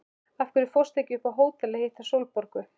Af hverju fórstu ekki upp á hótel að hitta Sólborgu?